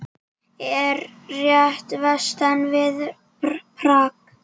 Er rétt vestan við Prag.